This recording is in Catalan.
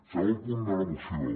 segon punt de la moció